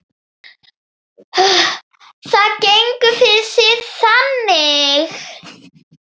Það gengur fyrir sig þannig